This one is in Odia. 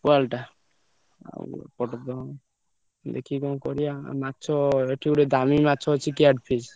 Wall ଟା ଆଉ ଏପଟେ ତ ଦେଖି କଣ କରିଆ ମାଛ ଏଠି ଗୋଟେ ଦାମୀ ମାଛ ଅଛି care fish